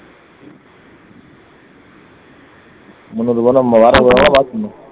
முன்னூறு ரூபான்னா நம்ம எவ்வளவு வேலை பாக்கணும்